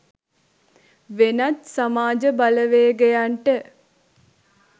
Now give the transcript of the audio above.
වෙනත් සමාජ බලවේගයන්ට